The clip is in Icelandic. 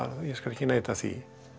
ég skal ekki neita því